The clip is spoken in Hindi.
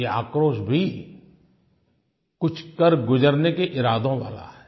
ये आक्रोश भी कुछ कर गुज़रने के इरादों वाला है